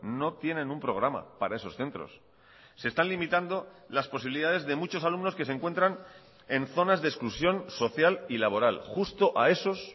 no tienen un programa para esos centros se están limitando las posibilidades de muchos alumnos que se encuentran en zonas de exclusión social y laboral justo a esos